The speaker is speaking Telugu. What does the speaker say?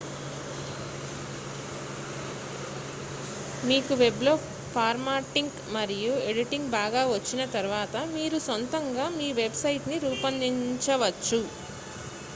మీకు వెబ్లో ఫార్మాటింగ్ మరియు ఎడిటింగ్ బాగా వచ్చిన తర్వాత మీరు సొంతంగా మీ వెబ్ సైట్ ని రూపొందించవచ్చు